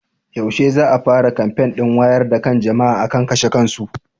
Yaushe ne za a fara kamfen ɗin wayar da kan jama'a akan kashe kansu?